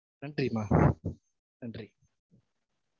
நன்றி மா நன்றி